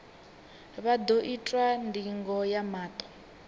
vha ḓo itwa ndingo ya maṱo